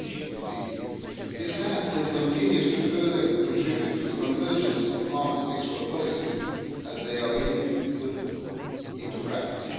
2015. This has contributed and continues to further contribute to the convergence of arms export policies as they are being put into practice.